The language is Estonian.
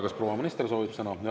Kas proua minister soovib sõna?